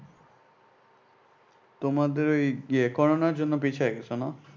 তোমাদের ওই ইয়ে করোনার জন্য পিছায় গেছ না?